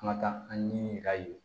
An ka taa an ɲini a ye